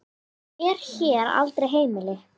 er hér aldrei heimil.